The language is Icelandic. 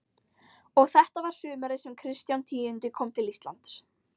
Og þetta var sumarið sem Kristján tíundi kom til Íslands.